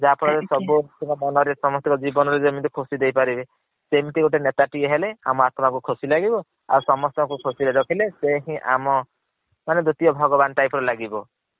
ଯାହା ଫଳରେ ସମସ୍ତଙ୍କ ମନ ରେ ସମସ୍ତଙ୍କ ଜୀବନରେ ଯେମିତି ଖୁସି ଦେଇ ପାରିବ ସେମତି ଗୋଟେ ନେଟ ଟିଏ ହେଲେ ଆମ ଆତ୍ମ କୁ ଖୁସି ଲାଗିବ। ସମସ୍ତଙ୍କୁ ଖୁସି ରେ ରଖିଲେ ସେ ହିଏନ୍ ଆମ ଦିତିୟ ଭଗବାନ୍ type ର ଲାଗିବ।